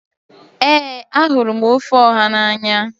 Ee ahụrụ m ofe Oha n'anya.